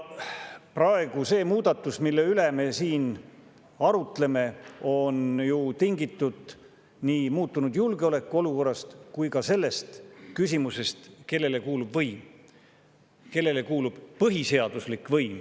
See muudatus, mille üle me praegu siin arutleme, on ju tingitud nii muutunud julgeolekuolukorrast kui ka sellest küsimusest, kellele kuulub võim, kellele kuulub põhiseaduslik võim.